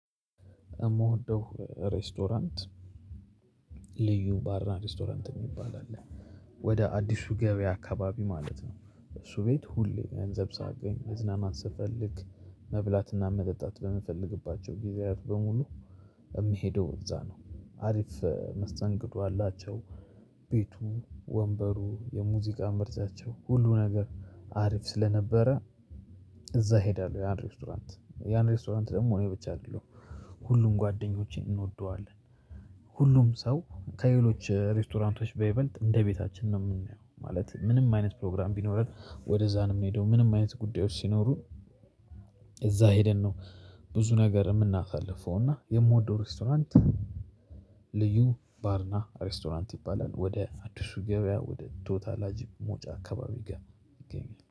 የምወደው ሬስቶራንት ልዩ ባርና ሬስቶራንት የሚባል አለ። ወደ አዲሱ ገበያ አካባቢ ማለት ነው እሱ በጣም ሁሌ ገንዘብ ሳገኝ መዝናናት ስፈልግ። መብላትና መጠጣት በምፈልግባቸው ጊዜያት በሙሉ የምሄደው እዛ ነው። አሪፍ መስተንግዶ አላቸው። ቤቱ ወንበሩ የሙዚቃ ምርጫቸው ሁሉ ነገር አሪፍ ስለነበረ። እዛ እሄዳለሁ ያን ሬስቶራንት ያን ሬስቶራንት ደግሞ እኔ ብቻ አይደለሁም። ሁሉም ጓደኞቼ እንወደዋለን። ሁሉም ሰው ከሌሎች ሬስቶራንቶች በይበልጥ እንደ ቤታችን ነው የምናየው ማለት። ምንም አይነት ፕሮግራም ቢኖረን ወደዛ ነው የምንሄደው ምንም አይነት ጉዳዮች ሲኖሩ። እዛ ሄደን ነው ብዙ ነገር የምናሳልፈው። እና የምወደው ሬስቶራንት ልዩ ባርና ሬስቶራንት ይባላል። ወደ አዲሱ ገበያ ወደ ቶታላጅ መውጫ አካባቢ ጋር ይገኛል